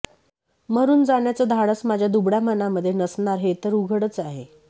मरून जाण्याचं धाडस माझ्या दुबळ्या मनामध्ये नसणार हे तर उघडच आहे